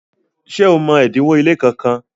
ṣe ọ mọ odinwo ile kán kán?